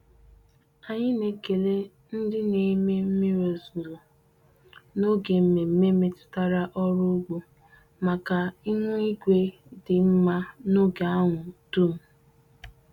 Anyị na-ekele ndị na-eme mmiri ozuzo n'oge mmemme metụtara ọrụ ugbo maka ihu igwe dị mma n'oge ahụ dum.